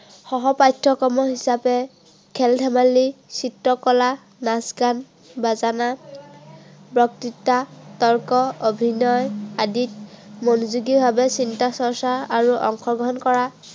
সহ পাঠ্য়ক্ৰম হিচাপে খেল-ধেমালি, চিত্ৰ কলা, নাচ-গান বাজনা বক্তৃতা, তৰ্ক অভিনয় আদিত মনোযোগী ভাৱে চিন্তা চৰ্চাআৰু অংশগ্ৰহণ কৰা